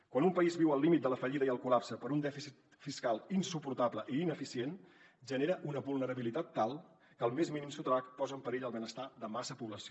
quan un país viu al límit de la fallida i el col·lapse per un dèficit fiscal insuportable i ineficient genera una vulnerabilitat tal que el més mínim sotrac posa en perill el benestar de massa població